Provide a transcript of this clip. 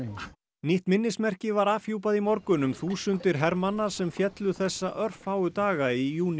nýtt minnismerki var afhjúpað í morgun um þúsundir hermanna sem féllu þessa örfáu daga í júní